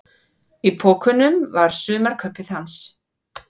Í pokunum var sumarkaupið hans.